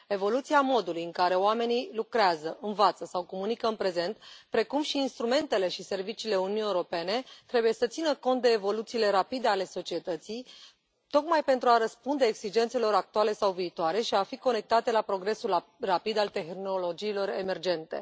Evoluția modului în care oamenii lucrează, învață sau comunică în prezent, precum și instrumentele și serviciile Uniunii Europene trebuie să țină cont de evoluțiile rapide ale societății, tocmai pentru a răspunde exigențelor actuale sau viitoare și a fi conectate la progresul rapid al tehnologiilor emergente.